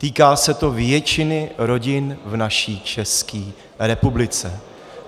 Týká se to většiny rodin v naší České republice.